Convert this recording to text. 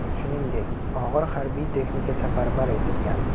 Shuningdek, og‘ir harbiy texnika safarbar etilgan.